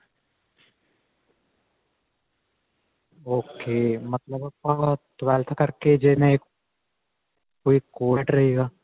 ok ਮਤਲਬ ਆਪਾਂ twelfth ਕਰਕੇ ਜਿਵੇਂ ਕੋਈ ਰਹੇਗਾ